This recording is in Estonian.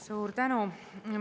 Suur tänu!